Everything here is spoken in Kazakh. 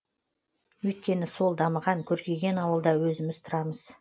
өйткені сол дамыған көркейген ауылда өзіміз тұрамыз